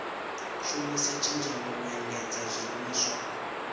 shumisa tshenzhemo u endedza zwiimiswa